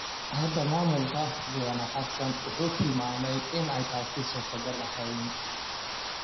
Hadda maamulka mudane Xassan waxa uu tilmaamay in aanay taasi suurtogal ahayn.